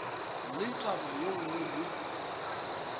le taba ye nngwe le